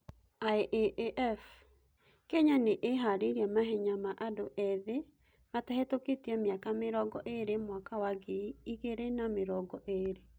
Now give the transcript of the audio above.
IAAF; Kenya nĩ ĩharĩrĩirie mahenya ma andũ ĩthĩ matahetũketie mĩaka mĩrongo ĩrĩ mwaka wa ngiri ĩgirĩ na miringo ĩrĩ